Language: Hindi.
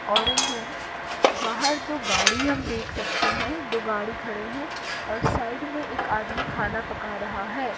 ऑरेंज रंग बाहर दो गाड़ी हम देख सकते हैं दो गाड़ी खड़े हैं और साईड में एक आदमी खाना पका रहा है।